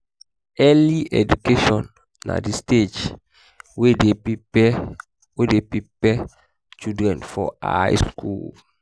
early education na di stage wey de prepare wey de prepare children for high school